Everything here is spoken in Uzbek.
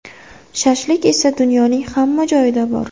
Shashlik esa dunyoning hamma joyida bor.